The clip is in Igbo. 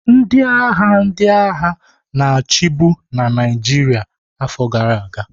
Ndị agha ndị agha na-achị bu na Naịjirịa afọ gara aga.